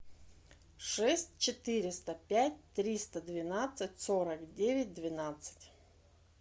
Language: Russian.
шесть четыреста пять триста двенадцать сорок девять двенадцать